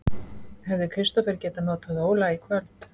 Hefði Kristófer getað notað Óla í kvöld?